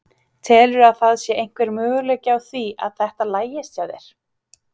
Telurðu að það sé einhver möguleiki á því að þetta lagist hjá þér?